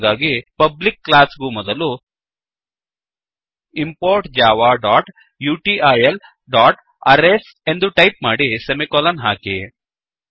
ಹಾಗಾಗಿ public class ಗೂ ಮೊದಲು ಇಂಪೋರ್ಟ್ javautilಅರೇಸ್ ಎಂದು ಟೈಪ್ ಮಾಡಿ ಸೆಮಿಕೋಲನ್ ಹಾಕಿ